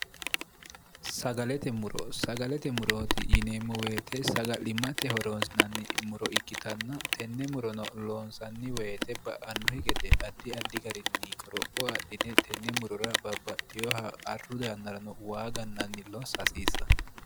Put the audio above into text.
sagalete muro sagalete murooti yineemmo woyite saga'limmate horoonsinanni muro ikkitanna tenne murono loonsanni woyite ba'annohi gede addi addi garinni qoropho adhine tenne murura babbaxxiyoha arru doyannarano waagannanni lossa hasiisanno